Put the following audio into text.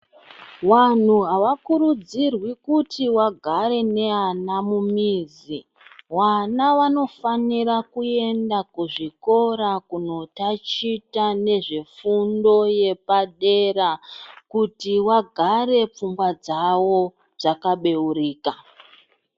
Wanhu awakurudzirwi kuti wagare newana mumizi wana wanofanira kuende kuzvikora kunotachita nezvefundo yepadera kuti wagare pfungwa dzao dzakabeurika.